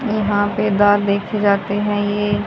यहां पे दाल देखे जाते हैं ये।